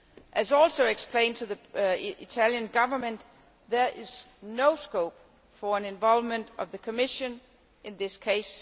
As was also explained to the Italian Government, there is no scope for an involvement of the Commission in this case.